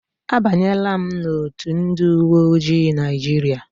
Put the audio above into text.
A banyela m n'otu ndị uwe ojii Naijiria.